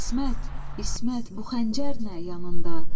İsmət, İsmət, bu xəncər nə yanında?